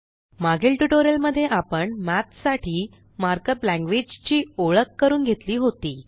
मागील ट्यूटोरियल मध्ये आपण मठ साठी मार्कअप लॅंग्वेज ची ओळख करून घेतली होती